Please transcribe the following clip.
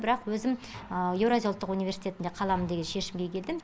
бірақ өзім еуразия ұлттық университетінде қаламын деген шешімге келдім